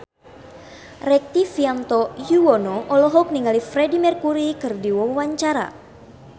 Rektivianto Yoewono olohok ningali Freedie Mercury keur diwawancara